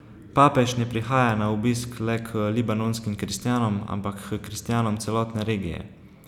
Papež ne prihaja na obisk le k libanonskim kristjanom, ampak h kristjanom celotne regije.